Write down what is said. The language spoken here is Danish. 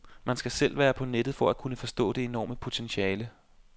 Man skal selv være på nettet for at kunne forstå det enorme potentiale.